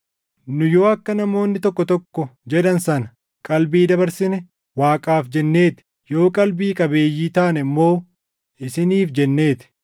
Nu yoo akka namoonni tokko tokko jedhan sana “qalbii dabarsine,” Waaqaaf jennee ti; yoo qalbii qabeeyyii taane immoo isiniif jennee ti.